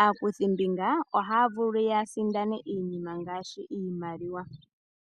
Aakuthimbinga ohaya vulu ya sindane iinima ngaashi iimaliwa.